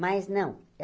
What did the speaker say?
Mas, não.